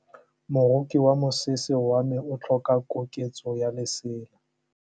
Moroki wa mosese wa me o tlhoka koketsô ya lesela.